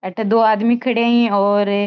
अठे दो आदमी खड़या है और --